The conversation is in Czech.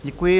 Děkuji.